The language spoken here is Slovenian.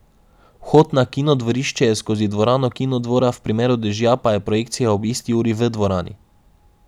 Vhod na Kinodvorišče je skozi Dvorano Kinodvora, v primeru dežja pa je projekcija ob isti uri v Dvorani.